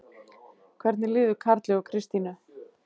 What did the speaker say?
Hvernig líður Karli og Kristínu?